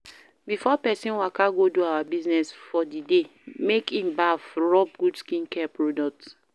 Before person waka go do our business for di day make in baff rubb good skincare product